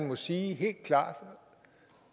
må sige det